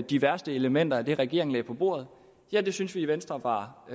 de værste elementer af det regeringen lagde på bordet ja det syntes vi i venstre var